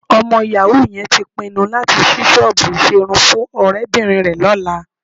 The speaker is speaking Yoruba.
Ọmọ yàwú yẹn tí pinnu láti ṣí ṣọ́ọ̀bù ìṣerun fún ọ̀rẹ́bìnrin rẹ lọ́la